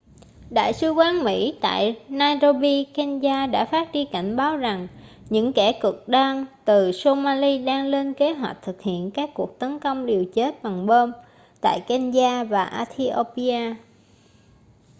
đại sứ quán mỹ tại nairobi kenya đã phát đi cảnh báo rằng những kẻ cực đoan từ somali đang lên kế hoạch thực hiện các cuộc tấn công liều chết bằng bom tại kenya và ethiopia